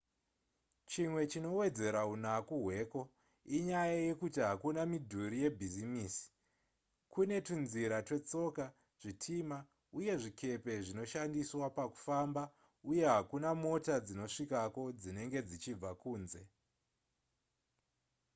chimwe chinowedzera unaku hweko inyaya yekuti hakuna midhuri yebhizimisi kune tunzira twetsoka zvitima uye zvikepe zvinoshandiswa pakufamba uye hakuna mota dzinosvikako dzinenge dzichibva kunze